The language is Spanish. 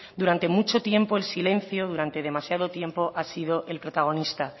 durante mucho tiempo el silencio durante demasiado tiempo ha sido el protagonista